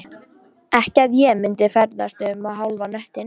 Ekki að ég myndi ferðast um hálfan hnöttinn